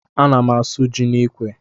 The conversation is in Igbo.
A ná m asụ jị n'ikwe.